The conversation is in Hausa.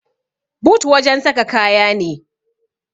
but wajen saka kaya ne